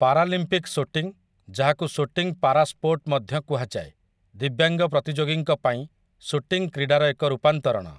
Paralympic shooting, ଯାହାକୁ 'shooting para sport' ମଧ୍ୟ କୁହାଯାଏ, ଦିବ୍ୟାଙ୍ଗ ପ୍ରତିଯୋଗୀଙ୍କ ପାଇଁ ସୁଟିଂ କ୍ରୀଡ଼ାର ଏକ ରୂପାନ୍ତରଣ ।